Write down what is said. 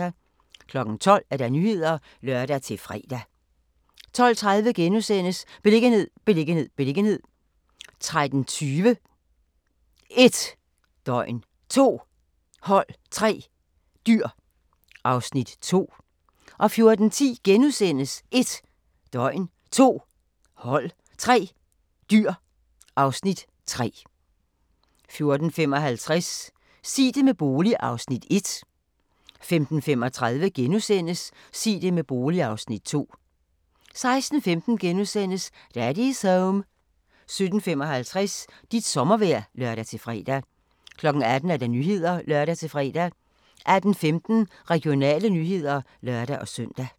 12:00: Nyhederne (lør-fre) 12:30: Beliggenhed, beliggenhed, beliggenhed * 13:20: 1 døgn, 2 hold, 3 dyr (Afs. 2) 14:10: 1 døgn, 2 hold, 3 dyr (Afs. 3)* 14:55: Sig det med bolig (Afs. 1) 15:35: Sig det med bolig (Afs. 2)* 16:15: Daddy's Home * 17:55: Dit sommervejr (lør-fre) 18:00: Nyhederne (lør-fre) 18:15: Regionale nyheder (lør-søn)